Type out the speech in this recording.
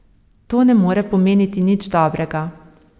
To ne more pomeniti nič dobrega.